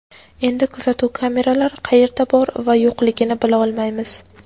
Endi kuzatuv kameralari qayerda bor va yo‘qligini bila olmaymiz.